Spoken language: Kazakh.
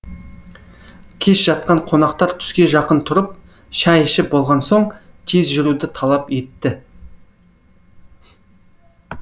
кеш жатқан қонақтар түске жақын тұрып шай ішіп болған соң тез жүруді талап етті